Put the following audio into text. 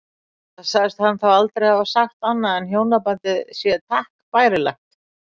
Enda segist hann þá aldrei hafa sagt annað en hjónabandið sé takk bærilegt.